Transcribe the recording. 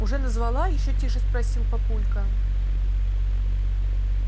уже назвала ещё тише спросил папулька